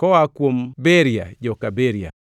koa kuom Beria, joka Beria;